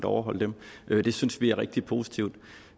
overholde dem det synes vi er rigtig positivt